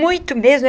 Muito mesmo.